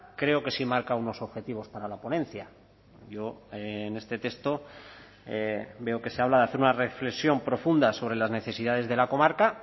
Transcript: creo que sí marca unos objetivos para la ponencia yo en este texto veo que se habla de hacer una reflexión profunda sobre las necesidades de la comarca